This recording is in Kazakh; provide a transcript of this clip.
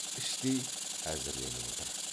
іштей әзірленіп отыр